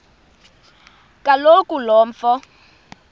kaloku lo mfo